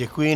Děkuji.